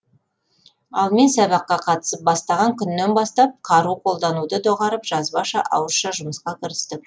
ал мен сабаққа қатысып бастаған күннен бастап қару қолдануды доғарып жазбаша ауызша жұмысқа кірістік